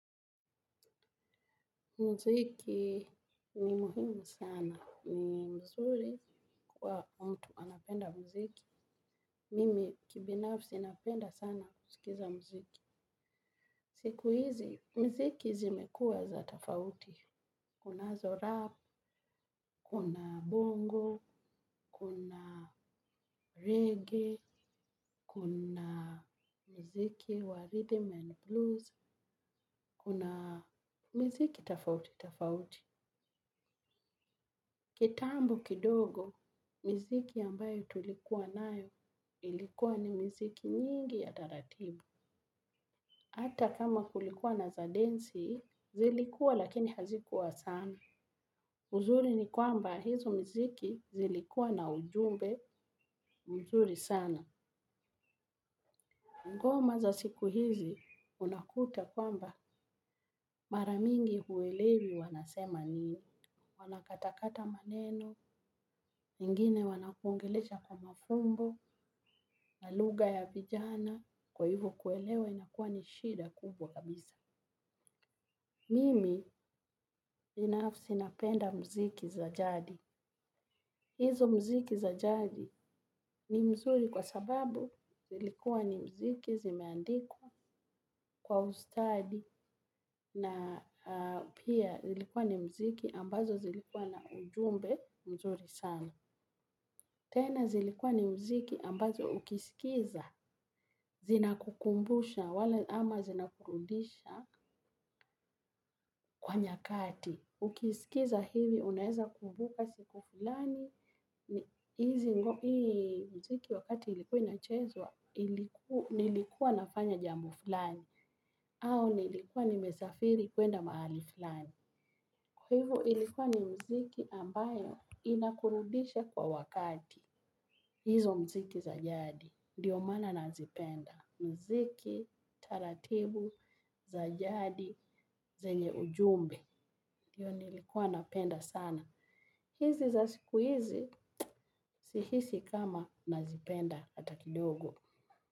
Mziki ni muhimu sana. Ni mzuri kwa mtu anapenda mziki. Mimi kibinafsi napenda sana kusikiza mziki. Siku hizi, miziki zimekua za tafauti. Kunazo rap, kuna bongo, kuna reggae, kuna mziki wa rhythm and blues, kuna mziki tafauti, tafauti. Kitambo kidogo, miziki ambayo tulikuwa nayo ilikuwa ni mziki nyingi ya taratibu. Hata kama kulikuwa na za densi zilikuwa lakini hazikuwa sana uzuri ni kwamba hizo miziki zilikuwa na ujumbe, mzuri sana. Ngoma za siku hizi, unakuta kwamba maramingi huwelewi wanasema nini. Wanakatakata maneno nyingine wanakuongelesha kwa mafumbo na lugha ya vijana kwa ivo kuelewa inakuwa ni shida kabisa. Mimi binafsi napenda mziki za jadi. Izo muziki za jadi ni mzuri kwa sababu zlikuwa ni mziki zimeandikwa kwa ustadi na pia zilikuwa ni mziki ambazo zilikuwa na ujumbe mzuri sana. Tena zilikuwa ni mziki ambazo ukisikiza, zinakukumbusha, wala ama zinakurudisha kwa nyakati. Ukisikiza hivi, unaeza kumbuka siku fulani, hizi mziki wakati ilikuwa inachezwa, nilikuwa nafanya jambo flani, au nilikuwa nimesafiri kuenda mahali flani. Kwa hivyo ilikuwa ni mziki ambayo inakurudisha kwa wakati. Izo mziki za jadi ndo maana nazipenda. Mziki, taratibu, za jadi, zenye ujumbe, ndiyo nilikuwa napenda sana. Izi za sikuizi sihisi kama nazipenda hata kidogo.